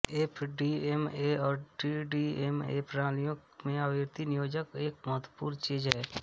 FDMA और TDMA प्रणालियों में आवृत्ति नियोजन एक महत्वपूर्ण चीज़ है